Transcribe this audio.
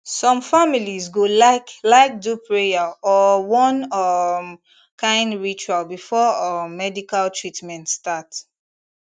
some families go like like do prayer or one um kind ritual before um medical treatment start